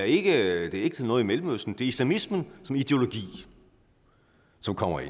ikke noget i mellemøsten islamismen som ideologi som kommer